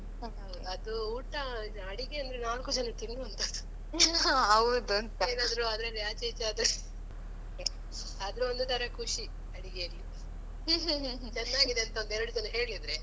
ಅದು ಊಟ ಅಡಿಗೆ ಅಂದ್ರೆ ನಾಲ್ಕು ಜನ ತಿನ್ನುವಂತದ್ದು ಏನಾದ್ರೂ ಅದ್ರಲ್ಲಿ ಆಚೆ ಈಚೆ ಆದ್ರೆ ಆದ್ರೂ ಒಂದು ತರ ಖುಷಿ ಅಡಿಗೆಯಲ್ಲಿ ಚೆನ್ನಾಗಿದೆ ಅಂತ ಒಂದೆರಡು ಜನ ಹೇಳಿದ್ರೆ.